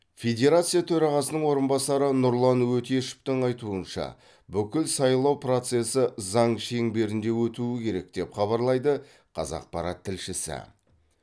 федерация төрағасының орынбасары нұрлан өтешевтің айтуынша бүкіл сайлау процесі заң шеңберінде өтуі керек деп хабарлайды қазақпарат тілшісі